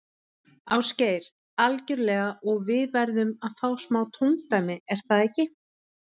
Ásgeir: Algjörlega og við verðum að fá smá tóndæmi, er það ekki?